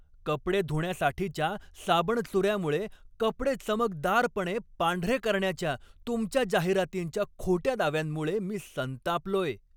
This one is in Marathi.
कपडे धुण्यासाठीच्या साबणचुऱ्यामुळे कपडे चमकदारपणे पांढरे करण्याच्या तुमच्या जाहिरातींच्या खोट्या दाव्यांमुळे मी संतापलोय.